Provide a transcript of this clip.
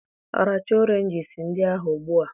Rachaa Oranges ndị ahụ Ugbu a!